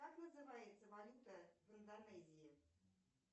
как называется валюта в индонезии